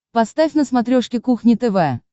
поставь на смотрешке кухня тв